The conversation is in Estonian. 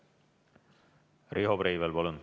Riho Breivel, palun!